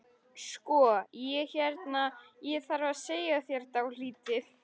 Sko. ég hérna. ég þarf að segja þér dálítið.